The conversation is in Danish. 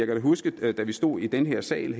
da huske at da vi stod i den her sal